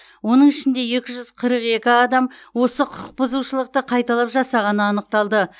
оның ішінде екі жүз қырық екі адам осы құқық бұзушылықты қайталап жасағаны анықталды